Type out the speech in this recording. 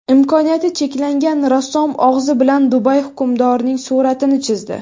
Imkoniyati cheklangan rassom og‘zi bilan Dubay hukmdorining suratini chizdi .